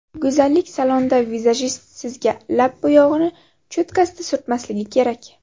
Go‘zallik salonida vizajist sizga lab bo‘yog‘ini cho‘tkasida surtmasligi kerak.